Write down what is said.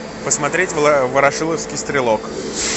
посмотреть ворошиловский стрелок